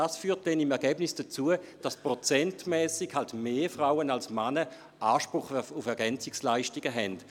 Dies führt im Ergebnis dazu, dass prozentual mehr Frauen als Männer Anspruch auf Ergänzungsleistungen haben.